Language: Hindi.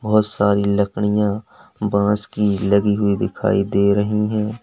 बहोत सारी लकड़ियां बांस की लगी हुई दिखाई दे रही है।